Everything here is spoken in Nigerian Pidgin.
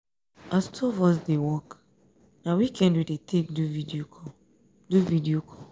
as two of us dey work na weekend we dey take do video call. do video call.